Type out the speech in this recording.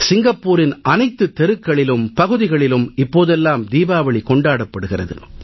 சிங்கப்பூரின் அனைத்து தெருக்களிலும் பகுதிகளிலும் இப்போதெல்லாம் தீபாவளி கொண்டாடப்படுகிறது